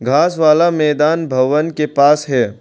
घास वाला मैदान भवन के पास है।